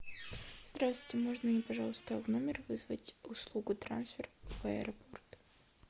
здравствуйте можно мне пожалуйста в номер вызвать услугу трансфер в аэропорт